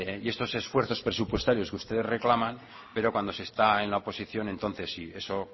y estos esfuerzos presupuestarios que ustedes reclaman pero cuando se está en la oposición entonces sí eso